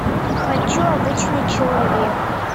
хочу обычный человек